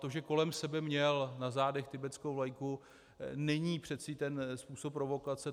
To, že kolem sebe měl - na zádech - tibetskou vlajku, není přece ten způsob provokace.